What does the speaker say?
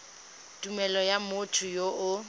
tumelelo ya motho yo o